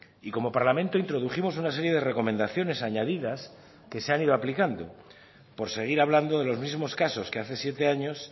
y como parlamento introdujimos una serie de recomendaciones añadidas que se han ido aplicando por seguir hablando de los mismos casos que hace siete años